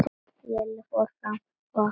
Lilla fór fram og opnaði.